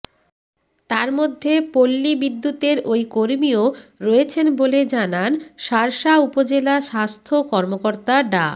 তার মধ্যে পল্লী বিদ্যুতের ওই কর্মীও রয়েছেন বলে জানান শার্শা উপজেলা স্বাস্থ্য কর্মকর্তা ডা